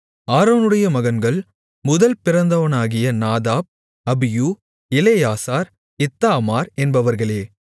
ஆரோனுடைய மகன்கள் முதல் பிறந்தவனாகிய நாதாப் அபியூ எலெயாசார் இத்தாமார் என்பவர்களே